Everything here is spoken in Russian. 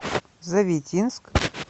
завитинск